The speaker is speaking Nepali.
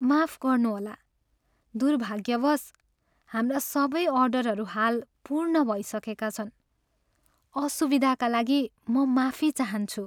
माफ गर्नुहोला, दुर्भाग्यवश, हाम्रा सबै अर्डरहरू हाल पूर्ण भइसकेका छन्। असुविधाका लागि म माफी चाहन्छु।